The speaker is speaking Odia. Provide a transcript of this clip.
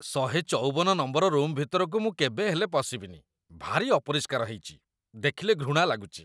୧୫୪ ନମ୍ବର ରୁମ୍‌‌ ଭିତରକୁ ମୁଁ କେବେ ହେଲେ ପଶିବିନି, ଭାରି ଅପରିଷ୍କାର ହେଇଚି, ଦେଖିଲେ ଘୃଣା ଲାଗୁଚି ।